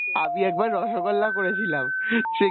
আমি একবার রসগোল্লা করেছিলাম সেই